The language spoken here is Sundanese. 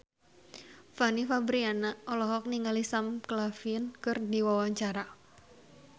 Fanny Fabriana olohok ningali Sam Claflin keur diwawancara